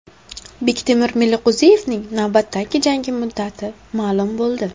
Bektemir Meliqo‘ziyevning navbatdagi jangi muddati ma’lum bo‘ldi.